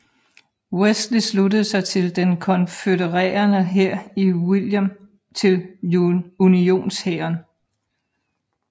Wesley sluttede sig til den konfødererede hær og William til Unionshæren